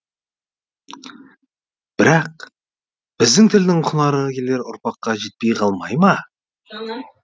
бірақ біздің тілдің құнары келер ұрпаққа жетпей қалмай ма